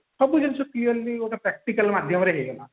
ସବୁ ଜିନିଷ clearly ଗୋଟେ practically ମାଧ୍ୟମରେ ହେଇଗଲା